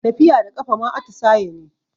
Tafiya da ƙafa ma atisaye ne